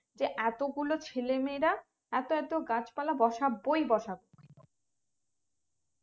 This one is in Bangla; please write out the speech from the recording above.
যে এতগুলো ছেলেমেয়েরা এত এত গুলো গাছ পলে বোসবোই বাসবো